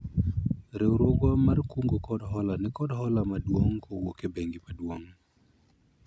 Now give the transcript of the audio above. riwruogwa mar kungo kod hola nikod hola maduong' kowuok e bengi maduong'